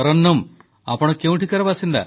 ତରନ୍ନୁମ୍ ଆପଣ କେଉଁଠିକାର ବାସିନ୍ଦା